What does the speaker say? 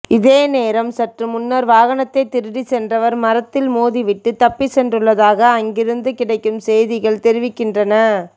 இதே நேரம் சற்று முன்னர் வாகனத்தைச் திருடிச் சென்றவர் மரத்தில் மோதிவிட்டு தப்பிச் சென்றுள்ளதாக அங்கிருந்து கிடைக்கும் செய்திகள் தெரிவிக்கின்றன